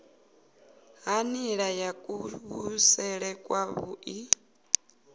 ha nila ya kuvhusele kwavhui